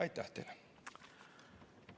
Aitäh teile!